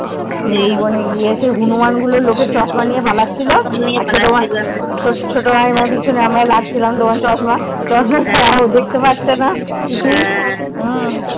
মৃধুবন এ গিয়ে হনুমান গুলো লোকের চশমা নিয়ে পালাচ্ছিল চশমা নিয়ে পালাচ্ছিল হ্যা আর ছোট মা ছোট দাইমার পিছনে আমরা লাগছিলাম তোমার চশমা চশমা ছাড়া দেখতে পাচ্ছেনা কিছু